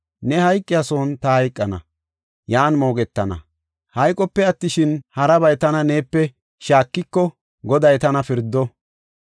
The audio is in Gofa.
Ne hayqiya son ta hayqana, yan moogetana. Hayqope attishin, harabay tana neepe shaakiko, Goday tana pirdo.”